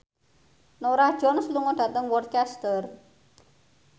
Norah Jones lunga dhateng Worcester